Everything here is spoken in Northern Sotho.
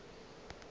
yo mongwe o be a